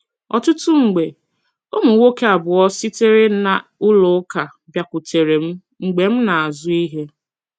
Ọtụtụ mgbe, ụmụ nwoke abụọ sitere na ụlọ ụka bịakwutere m mgbe m na - azụ ihe.